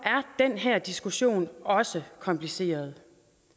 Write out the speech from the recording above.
den her diskussion også kompliceret